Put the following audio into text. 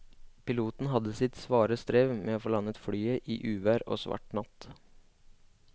Piloten hadde sitt svare strev med å få landet flyet i uvær og svart natt.